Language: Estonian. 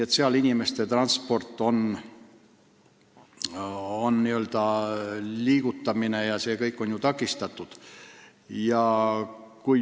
Seal on aga inimeste transport, liigutamine jms takistatud.